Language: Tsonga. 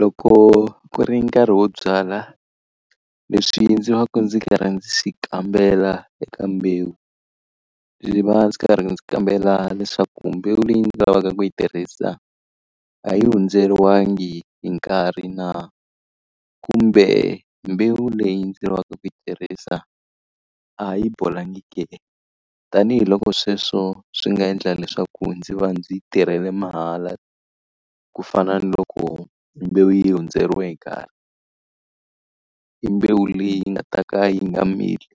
Loko ku ri nkarhi wo byala, leswi ndzi va ka ndzi karhi ndzi swi kambela eka mbewu, ndzi va ndzi karhi ndzi kambela leswaku mbewu leyi ndzi lavaka ku yi tirhisa a yi hundzeriwanga hi nkarhi na? Kumbe mbewu leyi ndzi lavaka ku yi tirhisa a yi bolangi ke? Tanihi loko sweswo swi nga endla leswaku ndzi va ndzi tirhela mahala, ku fana ni loko mbewu yi hundzeriwe hi nkarhi. I mbewu leyi nga ta ka yi nga mili,